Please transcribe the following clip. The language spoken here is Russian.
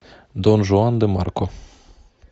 дон жуан де марко